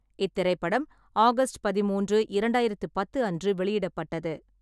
இத்திரைப்படம் ஆகஸ்ட் பதிமூன்று, இரண்டாயிரம் பத்து அன்று வெளியிடப்பட்டது.